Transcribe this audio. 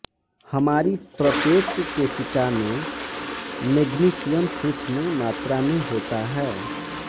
हमारी प्रत्येक कोशिका में मेग्नीशियम सूक्ष्म मात्रा में होता है